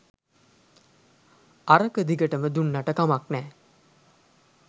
අරක දිගටම දුන්නට කමක් නෑ